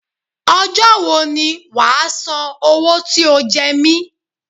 Ọjọ́ wo ni wàá san owó tí o jẹ mi?